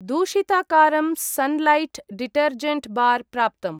दूषिताकारं Sunlight detergent bar प्राप्तम्।